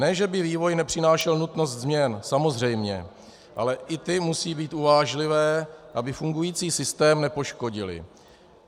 Ne že by vývoj nepřinášel nutnost změn, samozřejmě, ale i ty musí být uvážlivé, aby fungující systém nepoškodily.